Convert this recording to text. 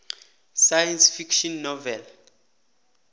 science fiction novel